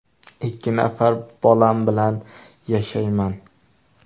Ikki nafar bolam bilan yashayman.